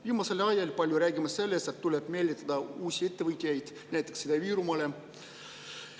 Viimasel ajal me räägime palju sellest, et tuleb meelitada uusi ettevõtteid näiteks Ida-Virumaale.